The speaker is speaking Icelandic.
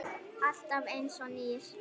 Alltaf einsog nýr.